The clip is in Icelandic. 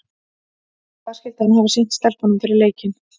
En hvað skyldi hann hafa sýnt stelpunum fyrir leikinn í kvöld?